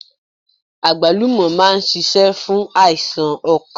Àgbálùmọ̀ máa n sisé fún àìsàn okàn